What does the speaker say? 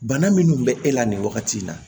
Bana minnu bɛ e la nin wagati in na